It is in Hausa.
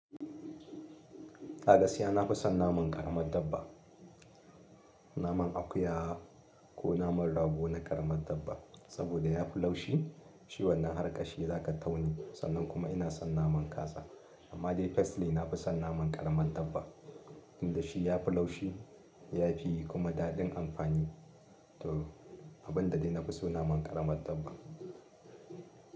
A gaskiya nafi son naman ƙaramad dabba. Naman akuya ko naman rago na ƙaramad dabba, saboda yafi laushi, shi wannan har ƙashi zaka taune, sannan kuma ina son naman kaza. Amma dai firstly na fi son naman ƙaramad dabba, tinda shi yafi laushi yafi kuma daɗin amfani. To abin da dai na fi so naman ƙaramad dabba.